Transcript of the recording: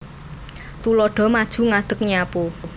Tuladha maju ngadeg nyapu